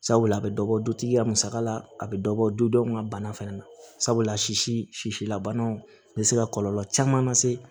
Sabula a bɛ dɔ bɔ dutigi ka musaka la a bɛ dɔ bɔ du dɔw ka bana fɛnɛ na sabula sisi si labanw bɛ se ka kɔlɔlɔ caman lase